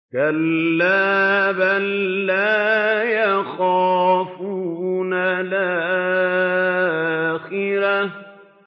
كَلَّا ۖ بَل لَّا يَخَافُونَ الْآخِرَةَ